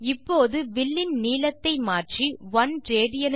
இப்போது வில்லின் நீளத்தை மாற்றி 1 ராட்